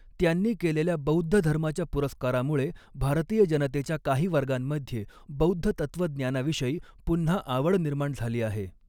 त्यांनी केलेल्या बौद्धधर्माच्या पुरस्कारामुळे, भारतीय जनतेच्या काही वर्गांमध्ये बौद्ध तत्त्वज्ञानाविषयी पुन्हा आवड निर्माण झाली आहे.